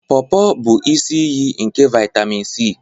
Porpor bụ isi iyi nke vitemin C.